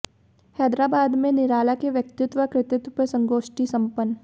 हैदराबाद में निराला के व्यक्तित्व व कृतित्व पर संगोष्ठी संपन्न